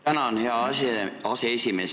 Tänan, hea aseesimees!